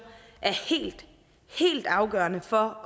er helt helt afgørende for